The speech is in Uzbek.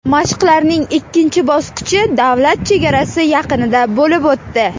Mashqlarning ikkinchi bosqichi davlat chegarasi yaqinida bo‘lib o‘tdi.